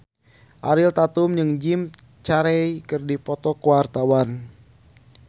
Ariel Tatum jeung Jim Carey keur dipoto ku wartawan